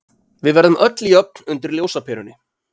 Við verðum öll jöfn undir ljósaperunni.